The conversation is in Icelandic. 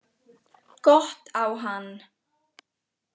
Gott á hann.